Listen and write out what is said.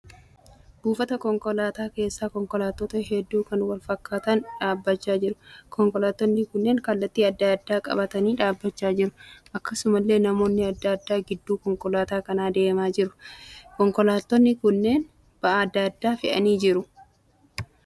Buufata konkolaataa keessa konkolaattota hedduu kan wal fakkaatan dhaabbachaa jiru. Konkolaattonni kunneen kallattii adda addaa qabatanii dhaabbachaa jiru. Akkasumallee namoonni adda addaa gidduu konkolaataa kanaa deemaa jiru. Konkolaattonni kunneen ba'aa adda addaa fe'anii jiru.